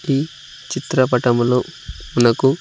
ఈ చిత్రపటంలో మనకు--